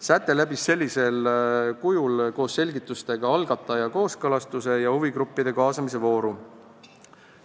Säte läbis sellisel kujul koos selgitustega algataja kooskõlastuse ja huvigruppide kaasamise vooru.